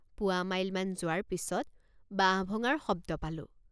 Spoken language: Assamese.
পোৱামাইলমান যোৱাৰ পিচত বাঁহ ভঙাৰ শব্দ পালোঁ।